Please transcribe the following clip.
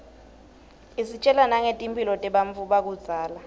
isitjela nangetimphilo tebantfu bakudzala